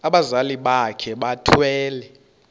abazali bakhe bethwele